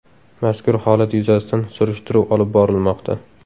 Mazkur holat yuzasidan surishtiruv olib borilmoqda.